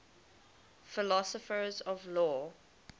philosophers of law